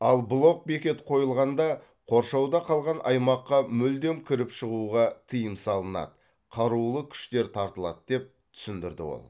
ал блок бекет қойылғанда қоршауда қалған аймаққа мүлдем кіріп шығуға тыйым салынады қарулы күштер тартылады деп түсіндірді ол